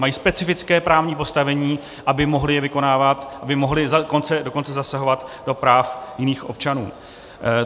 Mají specifické právní postavení, aby je mohli vykonávat, aby mohli dokonce zasahovat do práv jiných občanů.